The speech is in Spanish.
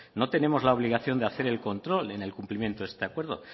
no tenemos la obligación de hacer el control en el cumplimiento de este acuerdo